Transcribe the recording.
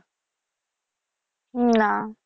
না